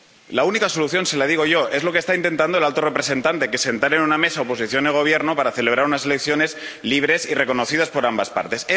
La única solución se la digo yo es lo que está intentando el alto representante, que es sentar en una mesa a oposición y Gobierno para celebrar unas elecciones libres y reconocidas por ambas partes.